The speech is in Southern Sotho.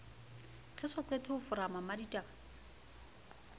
re soqete ho foroma mmaditaba